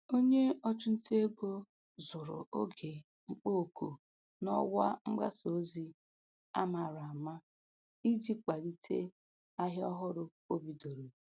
Onye ọchụ nta ego zụrụ oge mkpọ oku n'ọwa mgbasa ozi a mara ama iji kwalite ahịa ọhụrụ o bidoro.